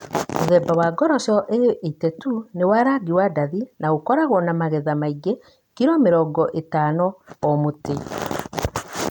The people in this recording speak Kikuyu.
Mũthemba wa ngoroco thondeke A82 nĩ wa rangi wa ndathi na ũkoragwo na magetha maingĩ (kilo mĩrongo ĩtano o mũtĩ).